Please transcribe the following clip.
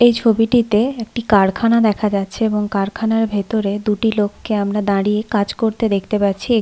এই ছবিটিতে একটি কারখানা দেখা যাচ্ছে এবং কারখানার ভেতরে দুটি লোককে আমরা দাঁড়িয়ে কাজ করতে দেখতে পাচ্ছি ।